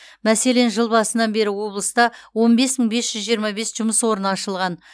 мәселен жыл басынан бері облыста он бес мың бес жүз жиырма бес жұмыс орны ашылған